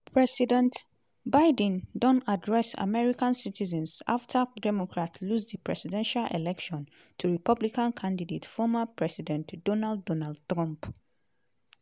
president biden don address american citizens afta democrat lose di presidential election to republican candidate former president donald donald trump.